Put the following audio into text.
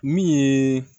Min ye